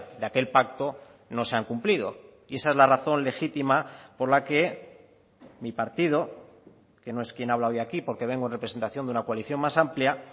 de aquel pacto no se han cumplido y esa es la razón legítima por la que mi partido que no es quien habla hoy aquí porque vengo en representación de una coalición más amplia